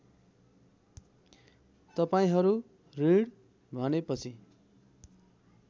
तपाईँहरू ऋण भनेपछि